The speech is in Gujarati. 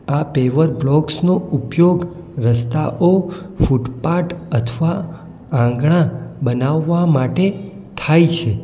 આ પેવર બ્લોક્સ નો ઉપયોગ રસ્તાઓ ફૂટપાટ અથવા આંગણા બનાવવા માટે થાય છે.